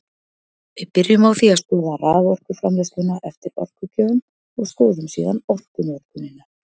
Við byrjum á því að skoða raforkuframleiðsluna eftir orkugjöfum og skoðum síðan orkunotkunina.